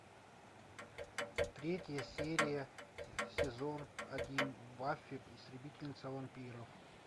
третья серия сезон один баффи истребительница вампиров